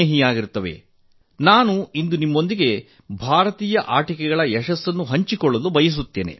ಇಂದು ನಾನು ನಿಮ್ಮೊಂದಿಗೆ ಭಾರತೀಯ ಆಟಿಕೆಗಳ ಯಶಸ್ಸನ್ನು ಹಂಚಿಕೊಳ್ಳಲು ಬಯಸುತ್ತೇನೆ